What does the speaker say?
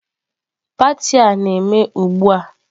Pati a na-eme ugbu a.